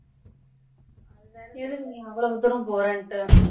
எதுக்கு நீ அவளோ தூரம் போறன்டு